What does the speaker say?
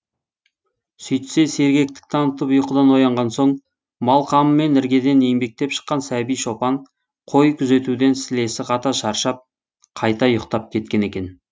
сөйтсе сергектік танытып ұйқыдан оянған соң мал қамымен іргеден еңбектеп шыққан сәби шопан қой күзетуден сілесі қата шаршап қайта ұйықтап кеткен екен